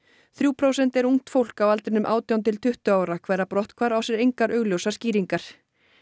þrjú prósent er ungt fólk á aldrinum átján til tuttugu ára hverra brotthvarf á sér engar augljósar skýringar